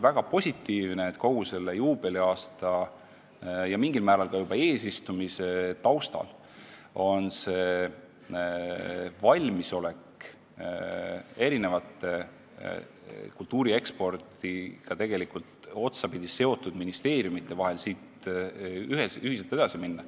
Väga positiivne oli kogu sellel juubeliaastal ja mingil määral ka juba eesistumise aastal kõigi kultuuri ekspordiga otsapidi seotud ministeeriumide valmisolek ühiselt edasi minna.